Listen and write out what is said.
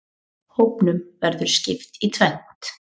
Hópnum verður skipt í tvennt.